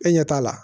E ɲɛ t'a la